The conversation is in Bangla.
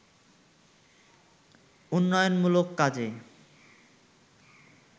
উন্নয়নমূলক কাজে